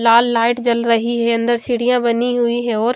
लाल light जल रही है अन्दर सीढ़ियाँ बनी हुई हैं और--